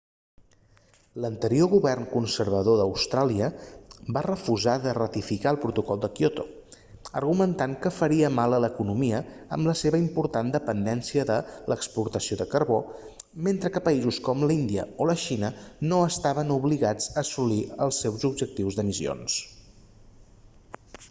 l'anterior govern conservador d'austràlia va refusar de ratificar el protocol de kyoto argumentant que faria mal a l'economia amb la seva important dependència de l'exportació de carbó mentre que països com índia o la xina no estaven obligats a assolir els objectius d'emissions